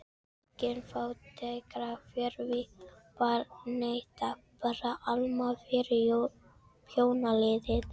Engin fátækrahverfi þar, nei takk, bara álma fyrir þjónaliðið.